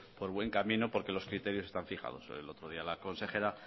por buen camino porque los criterios están fijados el otro día la consejera